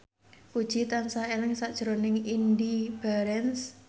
Puji tansah eling sakjroning Indy Barens